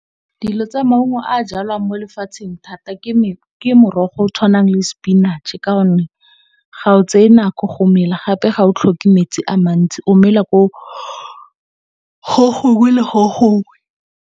Dingwe tsa maungo a jalwang mo lefatsheng thata ke morogo o tshwanang le sepinatšhe ka gonne, ga o tseye nako go mela gape ga o tlhoke metsi a mantsi o mela gongwe le gongwe.